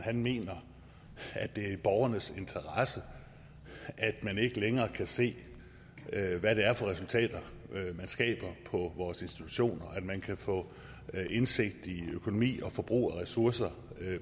mener at det er i borgernes interesse at man ikke længere kan se hvad det er for resultater de skaber på vores institutioner at man ikke kan få indsigt i økonomien og forbruget af ressourcer